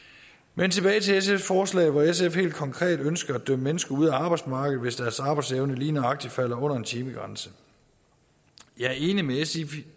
men tilbage til sfs forslag hvor sf helt konkret ønsker at dømme mennesker ud af arbejdsmarkedet hvis deres arbejdsevne lige nøjagtig falder under en timegrænse jeg er enig med sf i